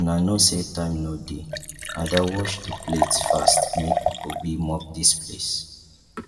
una no say time no dey ada wash the plates fast make obi mop dis place